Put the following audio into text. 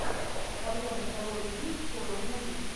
в твоем каталоге есть хоррор муви